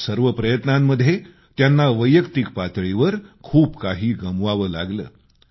या सर्व प्रयत्नांमध्ये त्यांना वैयक्तिक पातळीवर खूप काही सोसावं लागलं